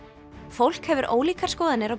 fólk hefur ólíkar skoðanir á